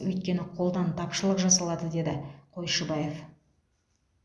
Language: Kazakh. өйткені қолдан тапшылық жасалады деді қойшыбаев